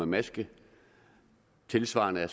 maske det tilsvarende er